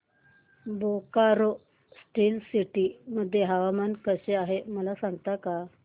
Bokaro steel city मध्ये हवामान कसे आहे सांगता का